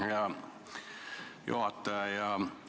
Hea juhataja!